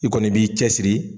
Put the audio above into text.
I kɔni b'i cɛ siri